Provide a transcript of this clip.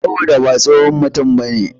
Saboda ha tsohon mutum bane.